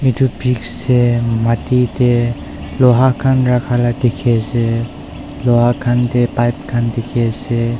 etu pics de mati de loha khan rakha la dikhi ase loha khan de pipe dikhi ase.